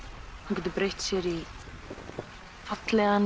getur breytt sér í fallegan